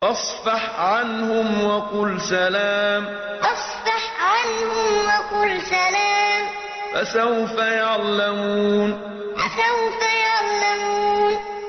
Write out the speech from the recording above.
فَاصْفَحْ عَنْهُمْ وَقُلْ سَلَامٌ ۚ فَسَوْفَ يَعْلَمُونَ فَاصْفَحْ عَنْهُمْ وَقُلْ سَلَامٌ ۚ فَسَوْفَ يَعْلَمُونَ